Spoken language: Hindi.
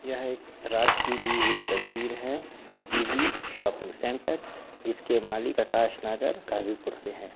यह एक रात की ली हुई तस्वीर है इजी शॉपिंग सेंटर जिसके मालिक आकाश नगर गाजीपुर से हैं।